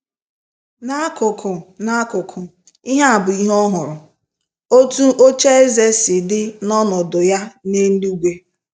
N'akụkụ, N'akụkụ, ihe a bụ ihe ohụrụ: “ Otu ocheeze si dị na ọnọdụ ya n’eluigwe...